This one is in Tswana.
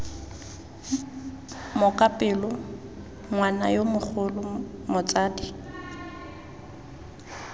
mokapelo ngwana yo mogolo motsadi